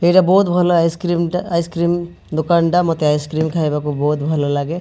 ଏଟା ବହୁତ ଭଲ ଆଇସି-କ୍ରିମ ଟା ଆଇସି-କ୍ରିମ ଦୋକାନ ଟା ମୋତେ ଆଇସି୍-କ୍ରିମ ଖାଇବାକୁ ଭଲଲାଗେ।